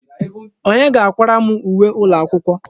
Onye ga-akwara m uwe ụlọakwụkwọ?